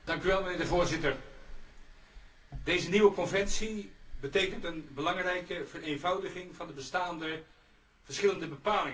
Voorzitter, deze nieuwe conventie betekent een belangrijke vereenvoudiging van de bestaande verschillende bepalingen.